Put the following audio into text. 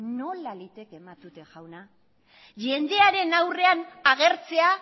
nola liteke matute jauna jendearen aurrean agertzea